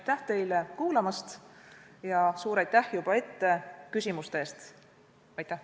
Aitäh teile kuulamise ja suur aitäh juba ette küsimuste eest!